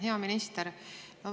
Hea minister!